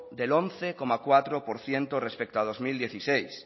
del once coma cuatro por ciento respecto a dos mil dieciséis